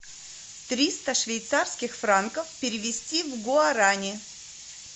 триста швейцарских франков перевести в гуарани